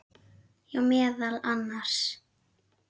Já, meðal annars.